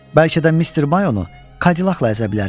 Bəlkə də Mr. Mayonu Kadillakla əzə bilərik.